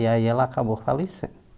E aí, ela acabou